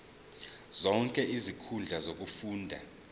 zonke izinkundla zokufunda